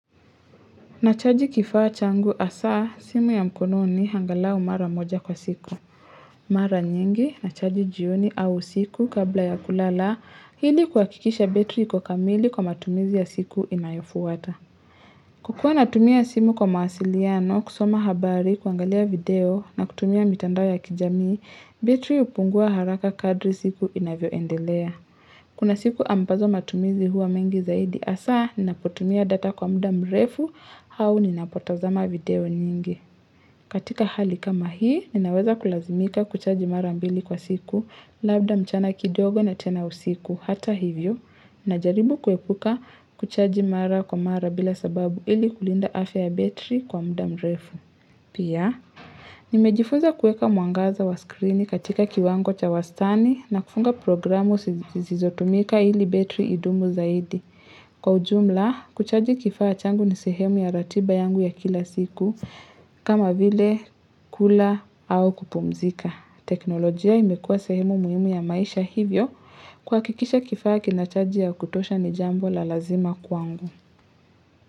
Nachaji kifaa changu hasa, simu ya mkononi angalau mara moja kwa siku. Mara nyingi, nachaji jioni au usiku kabla ya kulala, ili kuhakikisha betri iko kamili kwa matumizi ya siku inayofuata. Kukua natumia simu kwa mawasiliano, kusoma habari, kuangalia video na kutumia mitandao ya kijamii, betri hupungua haraka kadri siku inavyoendelea. Kuna siku ambazo matumizi huwa mengi zaidi hasa, ninapotumia data kwa muda mrefu, au ninapotazama video nyingi. Katika hali kama hii, ninaweza kulazimika kuchaji mara mbili kwa siku, labda mchana kidogo na tena usiku, hata hivyo. Ninajaribu kuepuka kuchaji mara kwa mara bila sababu ili kulinda afya ya betri kwa muda mrefu. Pia, nimejifunza kuweka mwangaza wa skrini katika kiwango cha wastani na kufunga programu zisizotumika ili betri idumu zaidi. Kwa ujumla, kuchaji kifaa changu ni sehemu ya ratiba yangu ya kila siku kama vile kula au kupumzika. Teknolojia imekua sehemu muhimu ya maisha hivyo kuhakikisha kifaa kinachaji ya kutosha ni jambo la lazima kwangu.